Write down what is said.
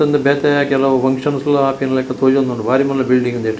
ಉಂದು ಬೇತೆ ಕೆಲವು ಫಂಕ್ಷನ್ ಸ್ಲ ಆಪಿನ್ಲಕ ತೋಜೊಂದುಂಡು ಬಾರಿ ಮಲ್ಲ ಬಿಲ್ಡಿಂಗ್ ಉಂದೆಟ್.